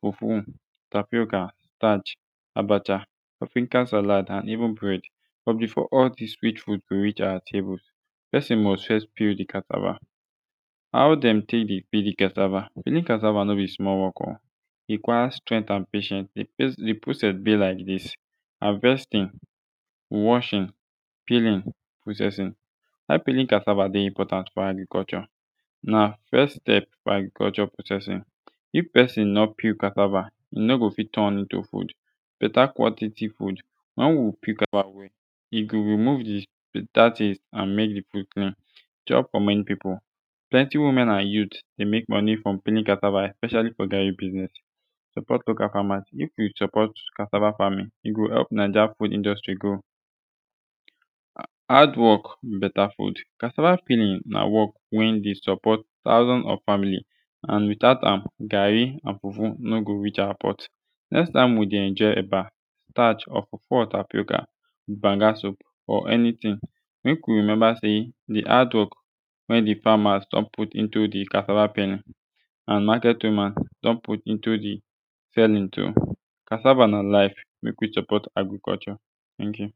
fufu tapioka starch abacha african salad and even bread but befor all dis sweet fud go reach awa table pesin must fess peel de cassava how dem tek dey peel de cassava peeling cassava no bi smal wok o e require strength and patience de process bi like dis havestin washing peeling processing why peeling cassava dey important fo agriculture na first step to agriculture processing if pesin no peel casaava e no go fit turn into fud beta quanlity fud wen wi peel cassaava e go remove de dat is an mek de process chop fo mani pipu plenti women and youth de mek moni frum peeling casaava especiali fo garri biznes support local famas if wi support cassava famin e go help naija fud industry grow hard wok beta fud cassava peelig na wok wen de support thousand of family and without am garri and fufu no go reach awa pot next time wi de enjoy eba starch or fufu or tapioka wit banga soup or anitin mek wi remeba sey de hardwok wey de famas don put into de cassava peeling and maket woman don put into de sellin too cassava na life mek wi support agriculture ten k yu